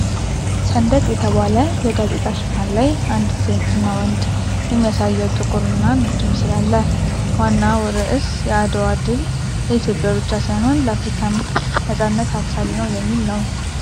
"ሰንደቅ" በተባለ የጋዜጣ ሽፋን ላይ፣ አንዲት ሴትና ወንድ የሚያሳየው ጥቁርና ነጭ ምስል አለ:: ዋናው ርዕስ "የአድዋ ድል ለኢትዮጵያ ብቻ ሳይሆን ለአፍሪካም ነፃነት አብሳሪ ነው" የሚል ነው::